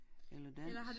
Eller dans